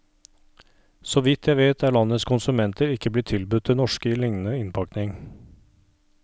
Såvidt jeg vet er landets konsumenter ikke blitt tilbudt det norske i lignende innpakning.